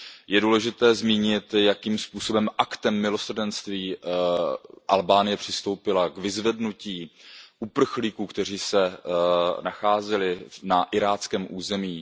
Je důležité zmínit, jakým způsobem aktem milosrdenství Albánie přistoupila k vyzvednutí uprchlíků, kteří se nacházeli na iráckém území.